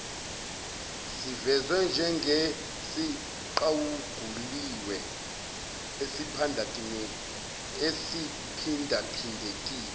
sivezwe njengesiqaguliwe esiphindaphindekile